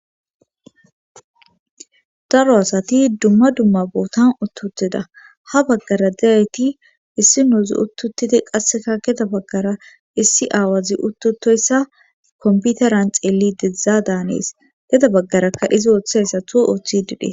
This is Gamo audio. daro asati dumma dumma bootan utt utida ha baggara de'iyayti issi nuuzi uttutidi qasseka geda baggara issi aawazi uttutoyssa komputaran xeelli dedzdza daanees geda baggarakka izi ooththayssatjo oththidi detes